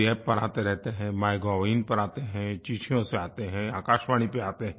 NarendraModiApp पर आते रहते हैं MyGovइन पर आते हैं चिट्ठियों से आते हैं आकाशवाणी पर आते हैं